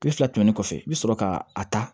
Tile fila tɛmɛnen kɔfɛ i bɛ sɔrɔ ka a ta